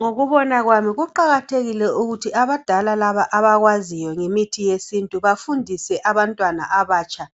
Ngokubona kwami kuqakathekile ukuthi abadala laba abakwaziyo ngemithi yesintu bafundise abantwana abatsha